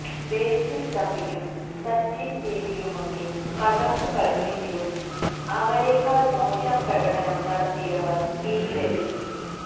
ബേസില് തമ്പിയും സച്ചിന് ബേബിയുമൊക്കെ തകര്ത്തു കളിച്ചെങ്കിലും അവരേക്കാള് മോശം പ്രകടനം നടത്തിയവര് ടീമിലെത്തി